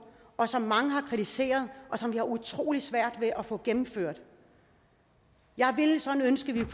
som mange har kritiseret og som vi har utrolig svært ved at få gennemført jeg ville sådan ønske at